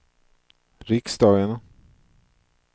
riksdagen